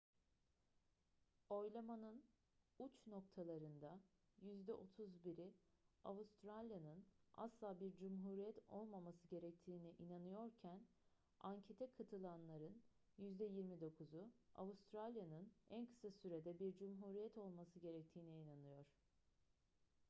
oylamanın uç noktalarında yüzde 31'i avustralya'nın asla bir cumhuriyet olmaması gerektiğine inanıyorken ankete katılanların yüzde 29'u avustralya'nın en kısa sürede bir cumhuriyet olması gerektiğine inanıyor